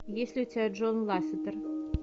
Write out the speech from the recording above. есть ли у тебя джон лассетер